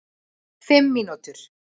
Fimm mínútur